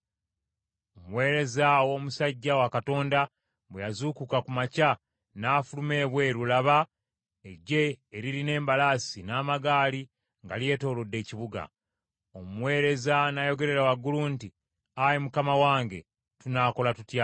Omuweereza ow’omusajja wa Katonda bwe yazuukuka ku makya n’afuluma ebweru, laba, eggye eririna embalaasi, n’amagaali nga lyetoolodde ekibuga. Omuweereza n’ayogerera waggulu nti, “Ayi mukama wange tunaakola tutya?”